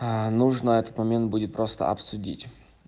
нужно этот момент будет просто обсудить